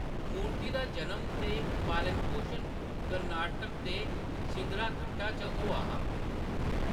मूर्ति दा जनम ते पालन-पोशन कर्नाटक दे शिदलाघट्टा च होआ हा।